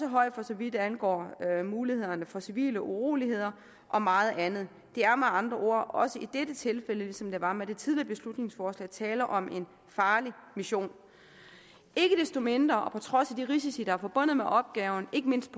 højt for så vidt angår mulighederne for civile uroligheder og meget andet der er med andre ord også i dette tilfælde ligesom der var med det tidligere beslutningsforslag tale om en farlig mission ikke desto mindre og på trods af de risici der er forbundet med opgaven ikke mindst